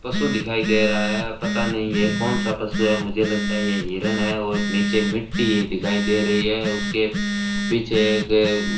पशु दिखाई दे रहा है पता नहीं ये कौन सा पशु है मुझे लगता है ये हिरण है और नीचे ये मिट्टी दिखाई दे रही है उसके पीछे एक --